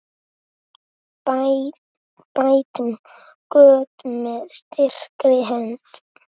Bætum göt með styrkri hönd.